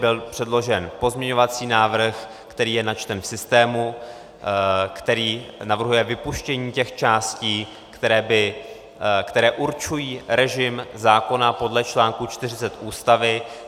Byl předložen pozměňovací návrh, který je načten v systému, který navrhuje vypuštění těch částí, které určují režim zákona podle článku 40 Ústavy.